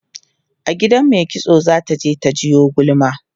a gidan maikitso zata je ta jiwo gulma